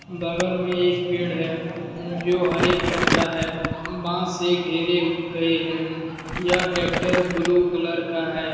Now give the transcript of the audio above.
बगल में एक पेड़ है उम जो हरे कलर का है बांस से घेरे गए है यह ट्रैक्टर ब्लू कलर का है।